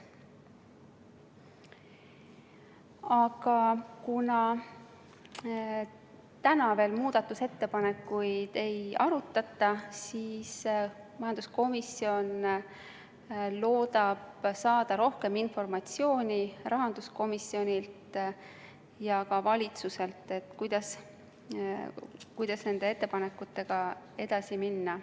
Aga kuna täna veel muudatusettepanekuid ei arutata, siis majanduskomisjon loodab saada rohkem informatsiooni rahanduskomisjonilt ja ka valitsuselt, kuidas nende ettepanekutega edasi minna.